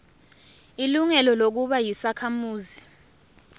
ilungelo lokuba yisakhamuzi